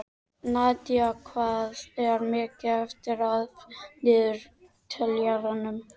Nadía, hvað er mikið eftir af niðurteljaranum?